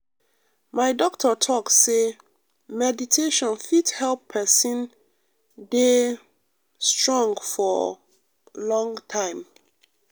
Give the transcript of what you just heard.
my doctor talk say meditation fit help person um de um strong for um long time.